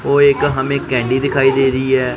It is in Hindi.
ओ एक एक हमें कैंडी दिखाई दे रही है।